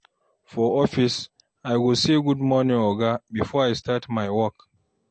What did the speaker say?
For office, I go say "Good morning, Oga" before I start my work.